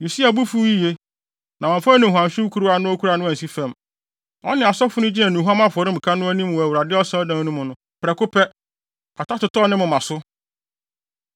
Usia bo fuw yiye, na wamfa nnuhuamhyew kuruwa a na okura no ansi fam. Ɔne asɔfo no gyina nnuhuam afɔremuka no anim wɔ Awurade Asɔredan no mu no, prɛko pɛ, kwata totɔɔ ne moma so.